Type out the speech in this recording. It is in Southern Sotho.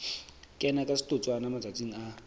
kena ka setotswana matsatsing a